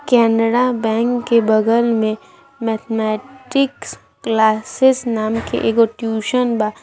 Canara Bank के बगल में मैथमेटिक्स क्लासेस नाम के एगो ट्यूशन बा।